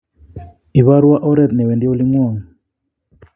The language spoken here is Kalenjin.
ibarwo oret newendi olingwong